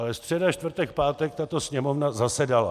Ale středa, čtvrtek, pátek tato Sněmovna zasedala.